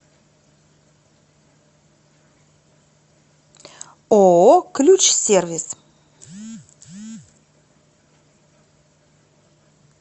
ооо ключсервис